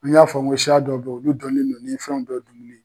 An y'a fɔ ko siya dɔ bɛ yen, olu dɔnnen don ni fɛn dɔw dunni ye.